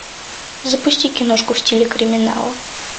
запусти киношку в стиле криминала